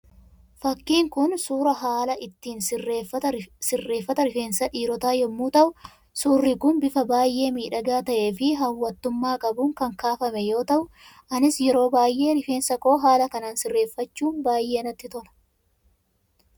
Fakkiin kun, suuraa haala ittiin sirreeffata rifeensa dhiirotaa yemmuu ta'u, suurri kun bifa baayye miidhagaa ta'ee fi hawwattummaa qabuun kan kaafame yoo ta'u, anis yeroo baayyee rifeensa koo haala kanaan sirreeffachuu baayyee natti tola.